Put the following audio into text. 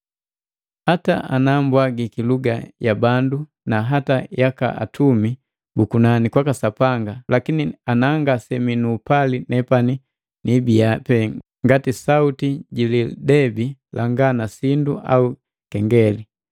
Hata ana mbwagiki luga ya bandu na hata yaka atumi bu kunani kwaka Sapanga, lakini ana ngasemii nuupali nepani nibiya pe ngati sauti ji lidebi langa na sindu au kengeli.